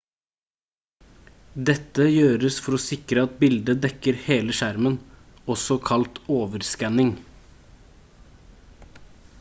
dette gjøres for å sikre at bildet dekker hele skjermen også kalt overskanning